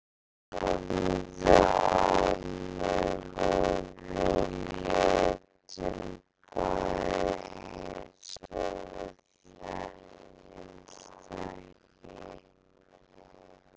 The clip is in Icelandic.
Hann horfði á mig og við létum bæði eins og við þekktumst ekki.